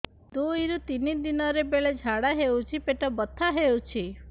ଦୁଇରୁ ତିନି ଦିନରେ ବେଳେ ଝାଡ଼ା ହେଉଛି ପେଟ ବଥା ହେଉଛି